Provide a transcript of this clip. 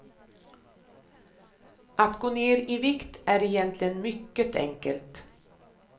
Att gå ner i vikt är egentligen mycket enkelt.